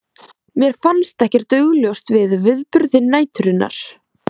Mér fannst ekkert augljóst við viðburði næturinnar.